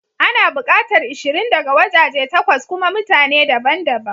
Ana bukatar ishirin daga wajaje takwas kuma mutane daban daban.